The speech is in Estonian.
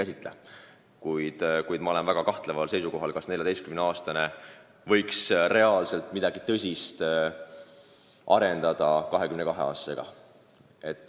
Samas ma olen väga kahtleval seisukohal, kas 14-aastane võiks arendada tõsist suhet 22-aastasega.